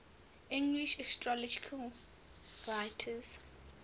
english astrological writers